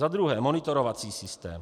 Za druhé monitorovací systém.